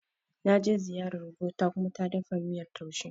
Na je ziyarar gogo ta Kuma ta dafa miyan taushe.